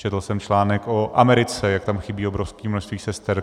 Četl jsem článek o Americe, jak tam chybí obrovské množství sester.